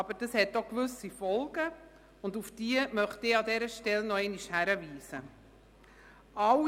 Aber das hat auch gewisse Folgen, auf die ich an dieser Stelle noch einmal hinweisen möchte: